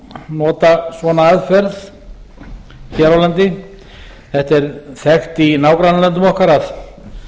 nota svona aðferð hér á landi þetta er þekkt í nágrannalöndum okkar að